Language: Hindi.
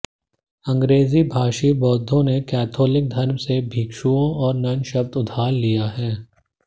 अंग्रेजी भाषी बौद्धों ने कैथोलिक धर्म से भिक्षुओं और नन शब्द उधार लिया है